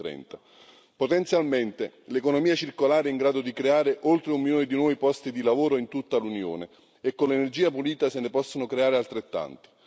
2030. Potenzialmente l'economia circolare è in grado di creare oltre un milione di nuovi posti di lavoro in tutta l'Unione, e con l'energia pulita se ne possono creare altrettanti.